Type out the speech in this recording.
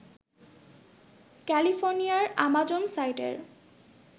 ক্যালিফোর্নিয়ার আমাজন সাইটের